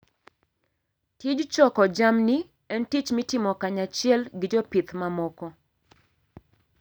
Tij choko jamni en tich mitimo kanyachiel gi jopith mamoko.